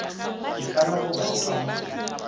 ikana goba go itlama go